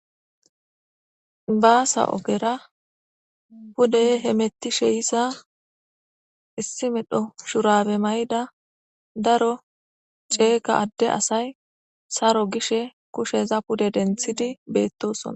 Basa ogera pude hamtishe yoza issi medho shurabbe maydda daro cega Ade asay Saro gishshe kushen pude denththidi bettosona.